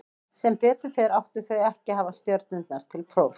Sem betur fer áttu þau ekki að hafa stjörnurnar til prófs.